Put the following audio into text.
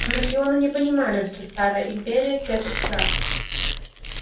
анакреоны не понимали что старая империя терпит крах